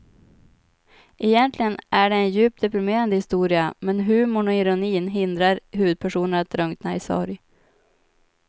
Egentligen är det en djupt deprimerande historia men humorn och ironin hindrar huvudpersonen att drunkna i sorg.